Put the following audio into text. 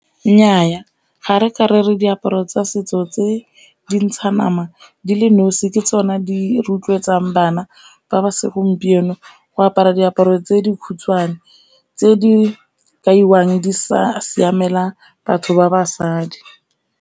Nnyaa ga re ka re re diaparo tsa setso tse dintsha nama dile nosi ke tsone di rotloetsang bana ba ba segompieno go apara diaparo tse di khutshwane, tse di kaiwang di sa siamela batho ba basadi.